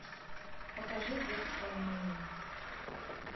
покажи детское меню